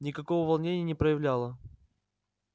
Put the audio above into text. никакого волнения не проявляла